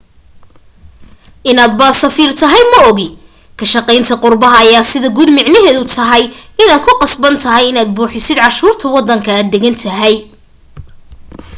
inaad ba safiir tahay maogi ka shaqaynta qurbaha ayaa sida guud micneheedu tahay inaad ku qasban tahay inaad buuxisid canshuurta wadanka aad degan tahay